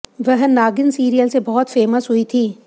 वह नागिन सीरियल से बहुत फेमस हुई थी